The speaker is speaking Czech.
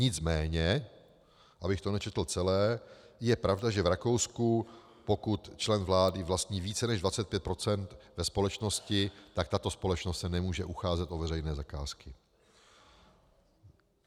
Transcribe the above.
Nicméně abych to nečetl celé, je pravda, že v Rakousku, pokud člen vlády vlastní více než 25 % ve společnosti, tak tato společnost se nemůže ucházet o veřejné zakázky.